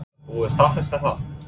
Er búið að staðfesta það?